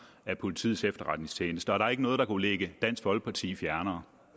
af politiets efterretningstjeneste og der er ikke noget der kunne ligge dansk folkeparti fjernere